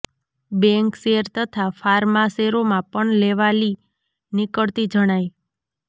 bank share તથા pharma શેરોમાં પણ લેવાલી નીકળતી જણાય